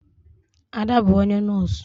Ada bu onye nọs.